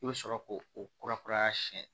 I bɛ sɔrɔ k'o o kura kura siɲɛ